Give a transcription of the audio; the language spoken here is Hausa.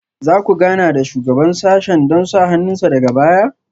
Za ku gana da Shugaban sashen don sa hannun sa daga baya?